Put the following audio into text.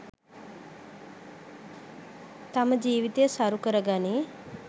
තම ජීවිතය සරු කරගනියි